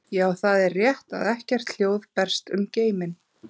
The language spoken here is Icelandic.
Já, það er rétt að ekkert hljóð berst um geiminn.